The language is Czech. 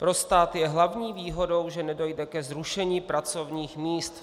Pro stát je hlavní výhodou, že nedojde ke zrušení pracovních míst.